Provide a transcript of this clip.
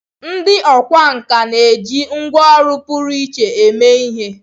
Ndị ọkwá nkà na-eji ngwá ọrụ pụrụ iche eme ihe.